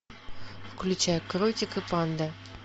включай кротик и панда